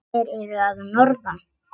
Þeir eru að norðan.